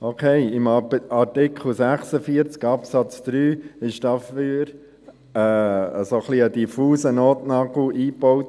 Okay: Im Artikel 46 Absatz 3 wurde dafür ein etwas diffuser Notnagel eingebaut.